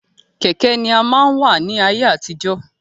Kẹ̀kẹ́ ni a máa n wa ni ayé àtijọ́.